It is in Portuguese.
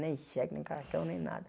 Nem cheque, nem cartão, nem nada.